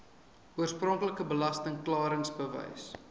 oorspronklike belasting klaringsbewys